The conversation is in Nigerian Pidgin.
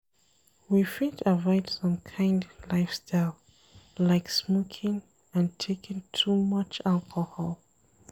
We fit avoid some kind lifestyle like smoking and taking too much alcohol